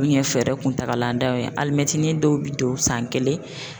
U ɲɛ fɛɛrɛ kuntagaladanw ye alimɛtinin dɔw bɛ don san kelen.